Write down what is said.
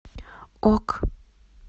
ок